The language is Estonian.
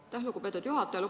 Aitäh, lugupeetud juhataja!